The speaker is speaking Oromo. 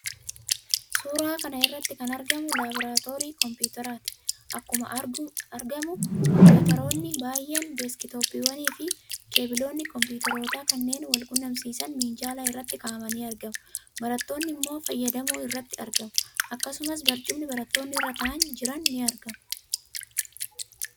Suuraa kana irratti kan argamu laaboraatoorii kompiwuuteraati. Akkuma argamu kompiwuuteroonni baay'een, deesk-tooppiiwwanfi keebiloonni kompiwuuteroota kanneen wal quunnamsiisan minjaala irra kaa'amanii argamu. Barattoonni immoo fayyadamuu irratti argamu. Akkasumas barcumni barattoonni irra taa'anii jiran ni argama.